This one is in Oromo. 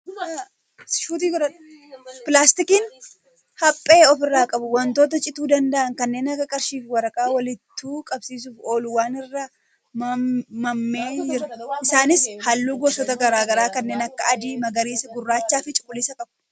Pilaastikiin haphee ofirraa qabu wantoota cituu danda'an kanneen akka qarshii fi waraqaa walittu qabsiisuuf oolu wal irra nammee jira. Isaanis halluu gosoota gara garaa kanneen akka adii, magariisa, gurraacha fi cuquliisa qabu.